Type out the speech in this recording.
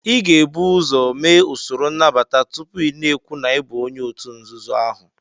Ị ga-ebu ụzọ mee usoro nnabata tupu ị na-ekwu na ị bụ onye òtù nzuzo ahụ